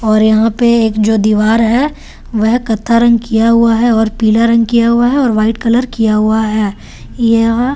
और यहां पे एक जो दीवार हैं वह कथा रंग किया हुआ है और पीला रंग किया हुआ है और व्हाइट कलर किया हुआ है यहां --